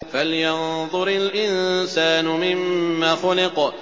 فَلْيَنظُرِ الْإِنسَانُ مِمَّ خُلِقَ